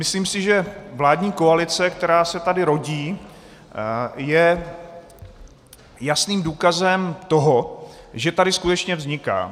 Myslím si, že vládní koalice, která se tady rodí, je jasným důkazem toho, že tady skutečně vzniká.